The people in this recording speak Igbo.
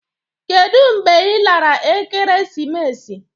Kedụ mgbe ị lara ekeresimesi?